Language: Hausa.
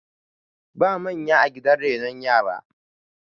ba manya a gidan renon yara